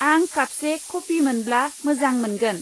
आं कापसे कफि मोनब्ला मोजां मोनगोन।